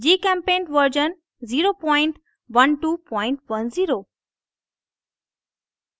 gchempaint version 01210